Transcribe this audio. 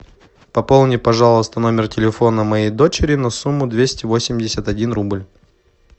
пополни пожалуйста номер телефона моей дочери на сумму двести восемьдесят один рубль